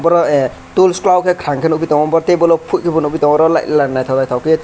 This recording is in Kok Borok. oro a tools kolo ke kangke nogi tango bo tebolo porti bo nogbi tango lai laibi naitotok ke.